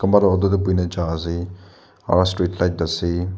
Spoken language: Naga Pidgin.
kunba toh auto te buhina jai ase aru street light ase.